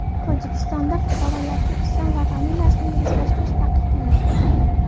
Tojikistonda fuqarolarga ism va familiyasini ruslashtirish taqiqlanadi.